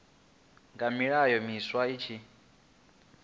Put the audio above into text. ngani milayo miswa i tshi